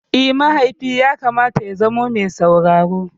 Eh, mahaifi yakamata ya zama me sauraro.